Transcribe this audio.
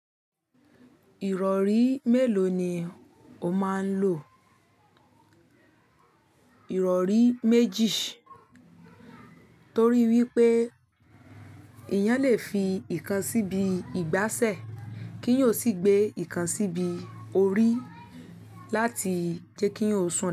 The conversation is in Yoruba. Ìrọ̀rí mélòó ni o máa ń lò? Ìrọ̀rí méjì, torí wípé èèyán lè fi ìkan síbi ìgbáṣẹ̀ kí èèyàn sì gbé ìkan síbi orí láti jẹ́ kí èèyàn sùn dáadáa.